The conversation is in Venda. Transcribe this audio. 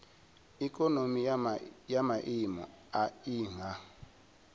ikonomi ya maiimo a nha